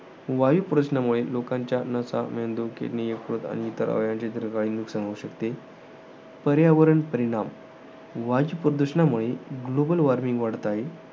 वायूप्रदूषणामुळे, लोकांच्या नसा, मेंदू, किडणी, यकृत आणि इतर अवयवांची दीर्घकाली नुकसान होऊ शकते. पर्यावरणीय परिणाम. वायू प्रदूषणामुळे global warming वाढत आहे.